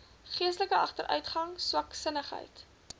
geestelike agteruitgang swaksinnigheid